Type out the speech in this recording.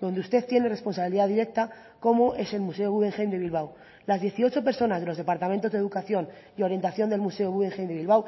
donde usted tiene responsabilidad directa como es el museo guggenheim de bilbao las dieciocho personas de los departamentos de educación y orientación del museo guggenheim de bilbao